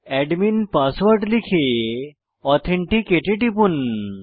admin password লিখে authenticate এ টিপুন